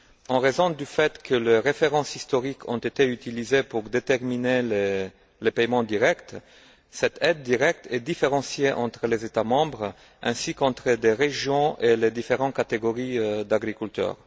En raison du fait que leurs références historiques ont été utilisées pour déterminer les paiements directs, cette aide directe est différenciée entre les États membres ainsi qu'entre les régions et les différentes catégories d'agriculteurs.